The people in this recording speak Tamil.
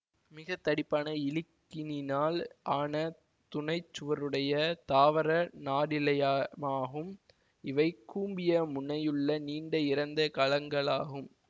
மிக தடிப்பான இலிக்னினால் ஆன துணைச்சுவருடைய தாவர நாரிழையமாகும் இவை கூம்பிய முனையுள்ள நீண்ட இறந்த கலங்களாகும்